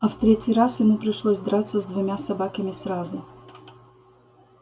а в третий раз ему пришлось драться с двумя собаками сразу